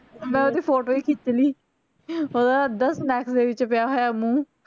ਮੈਂ ਓਹਦੀ photo ਹੀ ਖਿੱਚ ਲੀ ਹੈਂ ਅੱਧਾ snacks ਤੇ ਪਿਆ ਹੋਇਆ ਮੂੰਹ